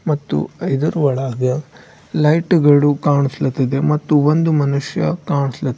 ಮತ್ತು ಇದರ ಒಳಗೆ ಲೈಟ್ ಗಳು ಕಾಣಸ್ಲಾತಿದೆ ಮತ್ತು ಒಂದು ಮನುಷ್ಯ ಕಾಣಸ್ಲಾ--